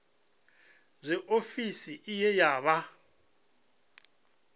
zwe ofisi iyi ya vha